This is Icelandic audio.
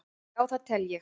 Já það tel ég.